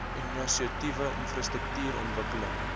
inisiatiewe infrastruktuur ontwikkeling